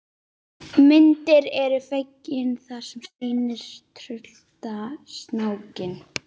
Myndin er fengin þar og sýnir tryllta snákinn.